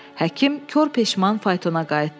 Həkim kor peşman faytona qayıtdı.